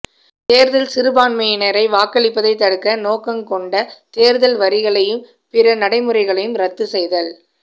தேர்தல் சிறுபான்மையினரை வாக்களிப்பதைத் தடுக்க நோக்கங்கொண்ட தேர்தல் வரிகளையும் பிற நடைமுறைகளையும் ரத்து செய்தல்